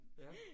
Ja